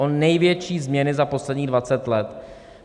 O největší změny za posledních 20 let!